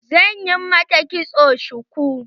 Zan yi mata kitson shuku.